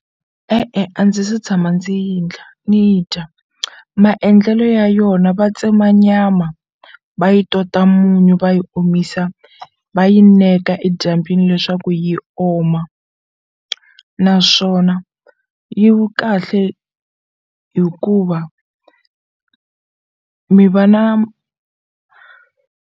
E-e a ndzi se tshama ndzi yi ndla ni yi dya maendlelo ya yona va tsema nyama va yi tota munyu va yi omisa va yi neka edyambyini leswaku yi oma naswona yi kahle hikuva mi va na.